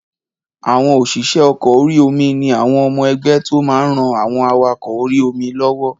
Àwọn òṣìṣẹ́ ọkọ̀ orí-omi ni àwọn ọmọ ẹgbẹ́ tó máa n ran àwọn awakọ̀ orí-omi lọ́wọ́